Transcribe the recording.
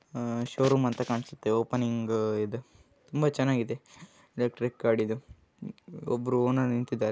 ಇದು ಶೊರೋಮ್ ಅಂತ ಕಾಣಿಸುತ್ತಿದೆ ಓಪನಿಂಗ್ ಇದೆ ತುಂಬಾ ಚೆನ್ನಾಗಿ ಇದೆ ಎಲ್ಟ್ರಿಕ್ ಗಾಡಿ ಇದೆ ಒಬ್ಬ ಓನರ್ ನಿಂತಿದ್ದಾರೆ.